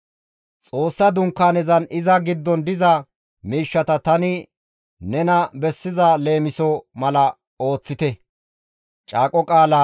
Xoossa Dunkaanezanne iza giddon diza miishshata tani nena bessiza leemisoza mala ooththite.